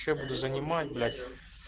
что я буду занимать блять